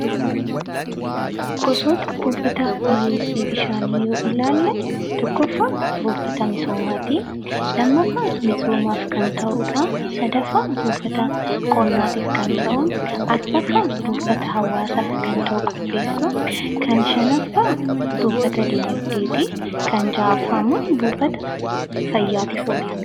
Gosoota buufata dhiheessii bishaanii yoo ilaalle tokkoffaa buufata misoomaati. Lammaffaan misoomaaf kan ta'udha. Sadaffaan buufata qonnaatiif kan ta'udha. Arfaffaan buufata hawwaasaaf kan ta'u qopheessuu, shanaffaan buufata diinagdeeti. Kan jahaffaa immoo buufata fayyaatiif oola.